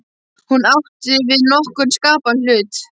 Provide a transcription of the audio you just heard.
Hún átti ekki við nokkurn skapaðan hlut.